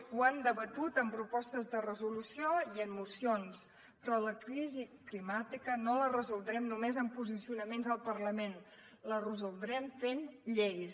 ho han debatut en propostes de resolució i en mocions però la crisi climàtica no la resoldrem només amb posicionaments al parlament la resoldrem fent lleis